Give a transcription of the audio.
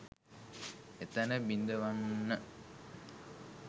එතැන බිඳවන්න